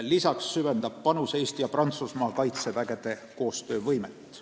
Lisaks suurendab meie panus Malis Eesti ja Prantsusmaa kaitsejõudude koostöövõimet.